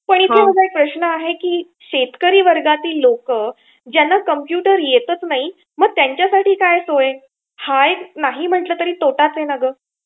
पण इथे माझा एक प्रश्न आहे की शेतकरी वर्गातील लोकं ज्यांना कम्प्युटर येताच नाही मग त्यांच्यासाठी काय सोय? हा एक नाही म्हंटलं तरी तोटाच आहे ना गं.